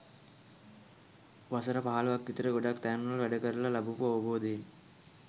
වසර පහළොවක් විතර ගොඩක් තැන්වල වැඩ කරල ලබපු අවබෝධයෙන්